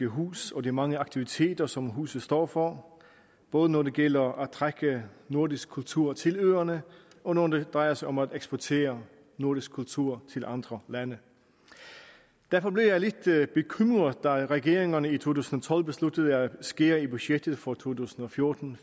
hus og de mange aktiviteter som huset står for både når det gælder om at trække nordisk kultur til øerne og når det drejer sig om at eksportere nordisk kultur til andre lande derfor blev jeg lidt bekymret da regeringerne i to tusind og tolv besluttede at skære i budgettet for to tusind og fjorten